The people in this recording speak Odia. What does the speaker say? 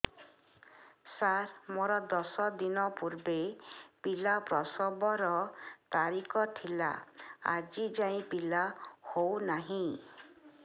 ସାର ମୋର ଦଶ ଦିନ ପୂର୍ବ ପିଲା ପ୍ରସଵ ର ତାରିଖ ଥିଲା ଆଜି ଯାଇଁ ପିଲା ହଉ ନାହିଁ